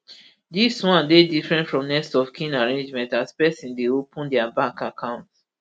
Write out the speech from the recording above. dis one dey different from next of kin arrangement as pesin dey open dia bank account